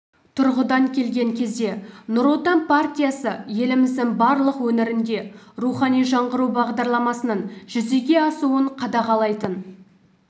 тұрғыдан келген кезде нұр отан партиясы еліміздің барлық өңірінде рухани жаңғыру бағдарламасының жүзеге асуын қадағалайтын